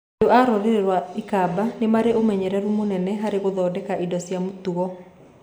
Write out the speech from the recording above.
Andũ a rũrĩrĩ rwa Akamba nĩ marĩ ũmenyeru mũnene harĩ gũthondeka indo cia mũtugo.